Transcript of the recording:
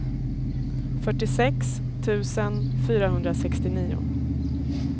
fyrtiosex tusen fyrahundrasextionio